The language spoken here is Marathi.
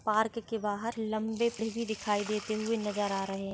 पार्क के के बाहर लंबे प्रिव्ही दिखाई देते हुई नजर आ रही है।